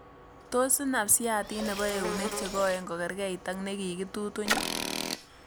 Tos' inaap syaatiit nepo eunek chegoeni kogergerriit ak nekigitutuny'